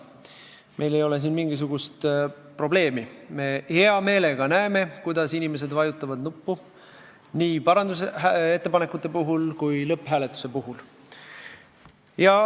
Meil ei ole mingisugust probleemi, me hea meelega näeme, kuidas inimesed vajutavad nuppu nii parandusettepanekute puhul kui ka lõpphääletuse puhul.